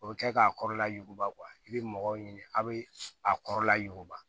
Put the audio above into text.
O bɛ kɛ k'a kɔrɔla yuguba i bɛ mɔgɔw ɲini a bɛ a kɔrɔla yuguba